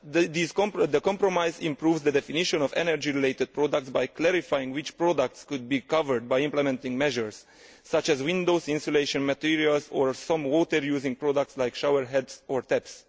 Thus, the compromise improves the definition of energy related products' by clarifying which products could be covered by implementing measures, such as window insulation materials or some water using products like showerheads or taps.